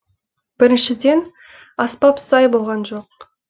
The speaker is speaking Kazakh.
біріншіден аспап сай болған жоқ